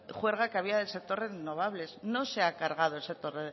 juerga que había en el sector renovables no se ha cargado el sector